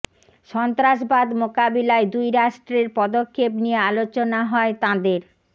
সন্ত্রাসবাদ মোকাবিলায় দুই রাষ্ট্রের পদক্ষেপ নিয়ে আলোচনা হয় তাঁদের